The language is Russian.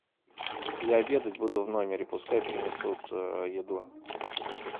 я обедать буду в номере пускай принесут еду